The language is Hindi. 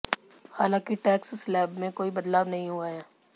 हालांकि टैक्स स्लैब में कोई बदलाव नहीं हुआ है